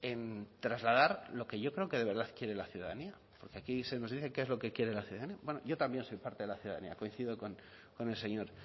en trasladar lo que yo creo que de verdad quiere la ciudadanía y aquí se nos dice qué quiere la ciudadanía bueno yo también soy parte de la ciudadanía coincido con el señor